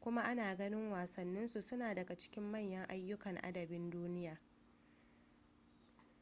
kuma ana ganin wasannin su suna daga cikin manyan ayyukan adabin duniya